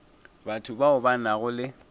batho bao ba nago le